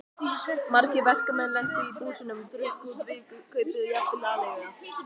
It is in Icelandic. Margir verkamenn lentu í búsinu, drukku út vikukaupið, jafnvel aleiguna.